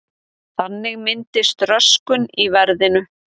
Þannig myndist röskun í verðinu.